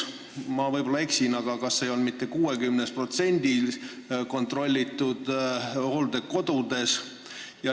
Ma võib-olla eksin, aga kas see ei olnud nii mitte 60%-l kontrollitud hooldekodudest.